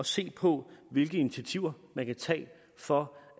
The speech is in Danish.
se på hvilke initiativer man kan tage for